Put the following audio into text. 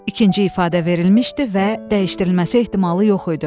İkinci ifadə verilmişdi və dəyişdirilməsi ehtimalı yox idi.